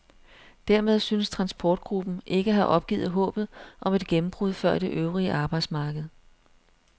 Dermed synes transportgruppen ikke at have opgivet håbet om et gennembrud før det øvrige arbejdsmarked.